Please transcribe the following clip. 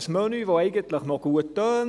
Ein Menü, das eigentlich recht gut tönt: